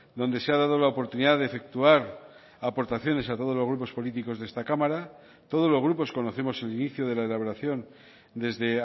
donde se ha dado la oportunidad de efectuar aportaciones a todos los grupos políticos de esta cámara todos los grupos conocemos el inicio de la elaboración desde